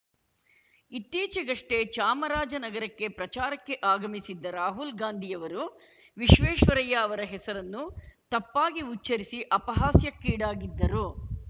ಇತ್ತೀಚೆಗಷ್ಟೇ ಚಾಮರಾಜನಗರಕ್ಕೆ ಪ್ರಚಾರಕ್ಕೆ ಆಗಮಿಸಿದ್ದ ರಾಹುಲ್‌ ಗಾಂಧಿಯವರು ವಿಶ್ವೇಶ್ವರಯ್ಯ ಅವರ ಹೆಸರನ್ನು ತಪ್ಪಾಗಿ ಉಚ್ಚರಿಸಿ ಅಪಹಾಸ್ಯಕ್ಕೀಡಾಗಿದ್ದರು